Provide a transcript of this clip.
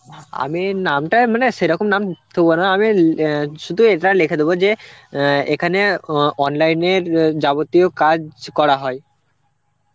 আমি নামটায় মানে সেরকম নাম থুব না আমি অ্যাঁ শুধু এইভাবে লিখে দেবো যে অ্যাঁ এখানে অ~ online এর অ্যাঁ যাবতীয় কাজ করা হয়.